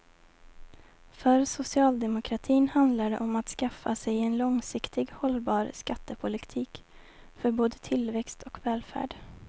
För socialdemokratin handlar det om att skaffa sig en långsiktigt hållbar skattepolitik för både tillväxt och välfärd.